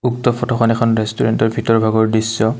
উক্ত ফটোখন এখন ৰেষ্টোৰেটৰ ভিতৰৰ ভাগৰ দৃশ্য।